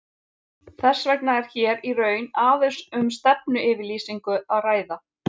Þess vegna er hér í raun aðeins um stefnuyfirlýsingu að ræða.